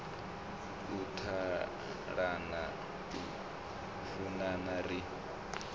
u ṱalana u funana ri